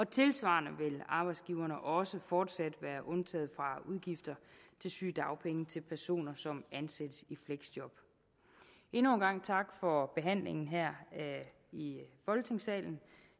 tilsvarende vil arbejdsgiverne også fortsat være undtaget fra udgifter til sygedagpenge til personer som ansættes i fleksjob endnu en gang tak for behandlingen her i folketingssalen